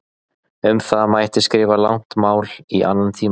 Um það mætti skrifa langt mál í annan tíma.